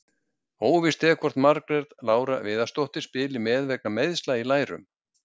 Óvíst er hvort að Margrét Lára Viðarsdóttir spili með vegna meiðsla í lærum.